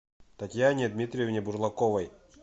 татьяне дмитриевне бурлаковой